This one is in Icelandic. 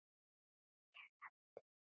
Ég eldist.